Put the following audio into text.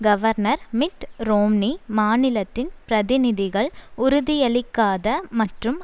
governor Mitt Romney மாநிலத்தின் பிரதிநிதிகள் உறுதியளிக்காத மற்றும்